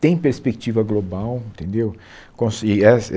tem perspectiva global, entendeu? Com e éh